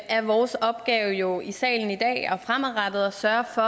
er vores opgave jo i salen i dag og fremadrettet at sørge for